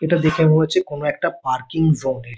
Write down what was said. এটা দেখে মনে হচ্ছে কোনো একটা পারকিং ।